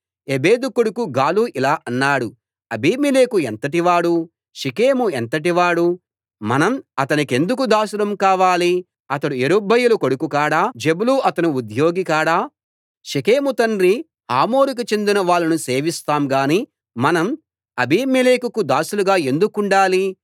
ఎబెదు కొడుకు గాలు ఇలా అన్నాడు అబీమెలెకు ఎంతటివాడు షెకెము ఎంతటివాడు మనం అతనికెందుకు దాసులం కావాలి అతడు యెరుబ్బయలు కొడుకు కాడా జెబులు అతని ఉద్యోగి కాడా షెకెము తండ్రి హమోరుకు చెందిన వాళ్ళను సేవిస్తాం గాని మనం అబబీమెలెకుకు దాసులుగా ఎందుకుండాలి